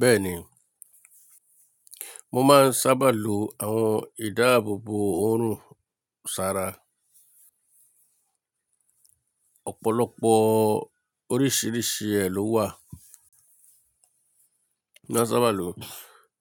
Bẹ́ẹ̀ni, mo máa ń sábà lo àwọn ìdáàbòbò oorun sára. Ọ̀pọ̀lọpọ̀ oríṣìíríṣìí ẹ ló wà. Mo sábà lò ó tí--